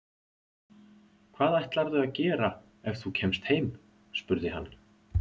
Hvað ætlarðu að gera ef þú kemst heim? spurði hann.